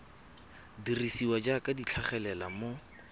dirisiwa jaaka di tlhagelela mo